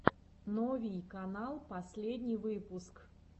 новий канал последний выпуск